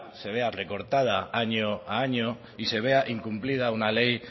se vea recortada año a año y se vea incumplida una ley